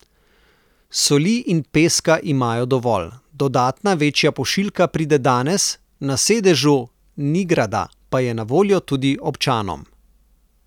Soli in peska imajo dovolj, dodatna večja pošiljka pride danes, na sedežu Nigrada pa je na voljo tudi občanom.